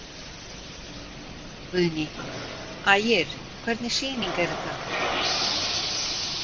Guðný: Ægir, hvernig sýning er þetta?